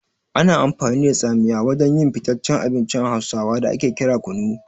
Ana amfani da tsamiya wajen yin fitaccen abincin hausawa da ake kira kunu.